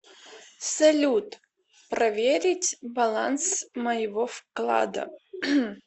салют проверить баланс моего вклада